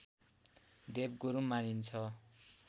देवगुरु मानिन्छ